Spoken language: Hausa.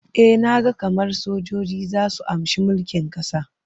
E, na ga kamar sojoji za su amshi mulkin ƙasar.